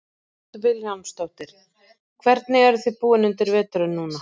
Hödd Vilhjálmsdóttir: Hvernig eruð þið búin undir veturinn núna?